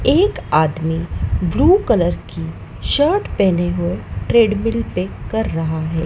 एक आदमी blue colour की शर्ट पहने हुए ट्रेडमिल पे कर रहा है।